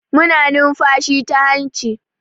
Muna numfashi ta hanci.